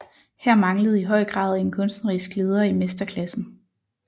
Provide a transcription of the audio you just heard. Her manglede i høj grad en kunstnerisk leder i mesterklassen